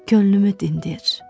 Könlümü dindir.